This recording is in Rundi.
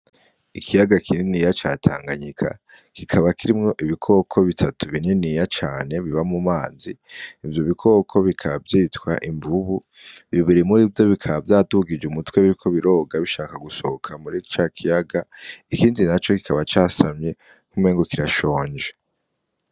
Ikiyaga kininiya ca tanganyika, kikaba kirimwo ibikoko butatu bininiya cane biba mu mazi ivyo bikoko bikaba vyitwa Imvubu bibiri murivyo bikaba bidugije umutwe bishaka gusohoka muri ca kiyaga ikindi naco kikaba casamye nkuko umengo kirashonje.